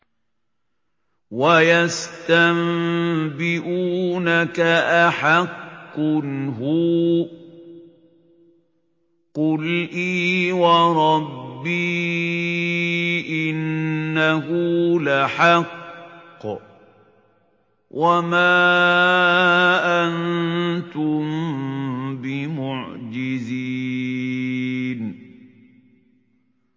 ۞ وَيَسْتَنبِئُونَكَ أَحَقٌّ هُوَ ۖ قُلْ إِي وَرَبِّي إِنَّهُ لَحَقٌّ ۖ وَمَا أَنتُم بِمُعْجِزِينَ